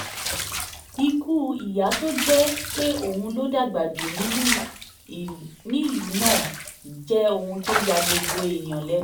ikú ìyà tó jẹ́ pé òun ló dàgbà jù nílùú náà jẹ́ ohun tó ya gbogbo èèyàn lẹ́nu